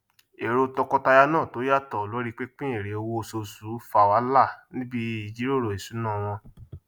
èrò tọkọtaya náà tó yàtọ lorí pínpín èrè owó oṣooṣù fá wàhálà níbí ìjíròrò ìṣúná wọn